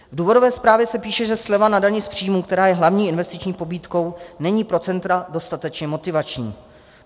V důvodové zprávě se píše, že sleva na dani z příjmu, která je hlavní investiční pobídkou, není pro centra dostatečně motivační.